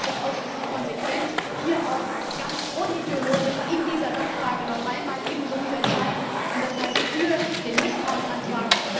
Deswegen ist es ausschließlich konsequent, hier auch ganz unideologisch in dieser Sachfrage noch einmal ebenso zu entscheiden, das heißt für den Misstrauensantrag.